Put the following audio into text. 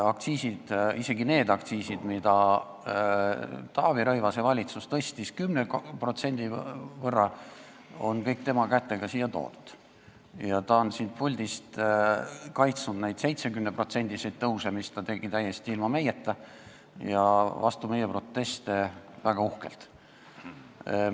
Aktsiisid, isegi need aktsiisid, mida Taavi Rõivase valitsus tõstis 10%, on kõik tema kätega siia toodud ja ta on siit puldist kaitsnud neid 70%-lisi tõuse, mis ta tegi väga uhkelt ära täiesti ilma meieta ja hoolimata meie protestidest.